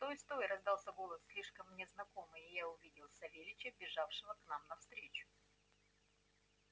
стой стой раздался голос слишком мне знакомый и я увидел савельича бежавшего нам навстречу